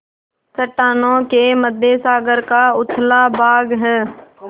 चट्टानों के मध्य सागर का उथला भाग है